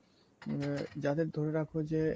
হম যাদের ধরে রাখো যে